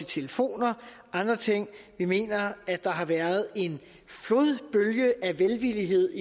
telefoner og andre ting vi mener der har været en flodbølge af velvillighed